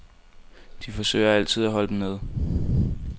De forsøger altid at holde dem nede.